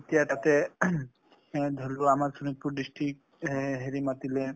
তেতিয়া তাতে এ ধৰি লোৱা আমাৰ খিনিক টো district হে হেৰি মাতিলে।